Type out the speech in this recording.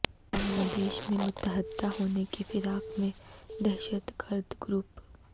بنگلہ دیش میں متحد ہونے کی فراق میں دہشت گرد گروپ